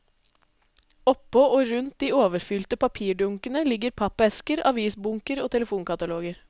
Oppå og rundt de overfylte papirdunkene ligger pappesker, avisbunker og telefonkataloger.